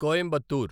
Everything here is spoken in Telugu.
కోయంబత్తూర్